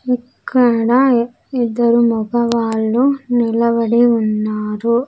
ఇక్కడ ఇద్దరు మగవాళ్ళు నిలబడి ఉన్నారు.